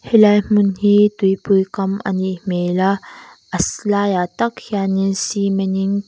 helai hmun hi tuipui kam a nih hmel a laiah tak hianin cement in--